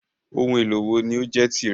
Oun èlò wo ni o jẹ tí rẹ?